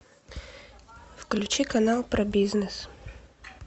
включи канал про бизнес